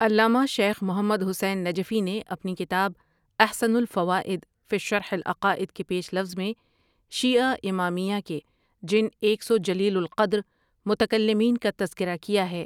علامہ شیخ محمد حسین نجفی نے اپنی کتاب احسن الفوائد فی شرح العقائد کے پیش لفظ میں شیعہ امامیہ کے جن ایک سو جلیل القدر متکلمین کا تذکرہ کیا ہے ۔